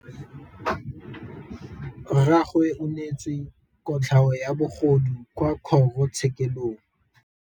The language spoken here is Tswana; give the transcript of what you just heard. Rragwe o neetswe kotlhaô ya bogodu kwa kgoro tshêkêlông.